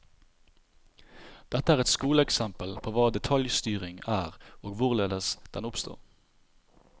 Dette er et skoleeksempel på hva detaljstyring er og hvorledes den oppstår.